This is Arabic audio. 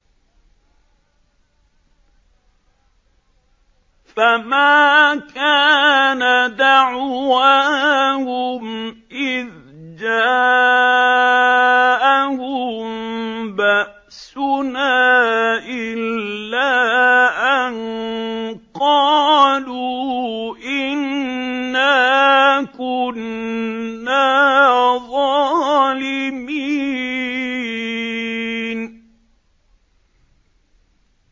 فَمَا كَانَ دَعْوَاهُمْ إِذْ جَاءَهُم بَأْسُنَا إِلَّا أَن قَالُوا إِنَّا كُنَّا ظَالِمِينَ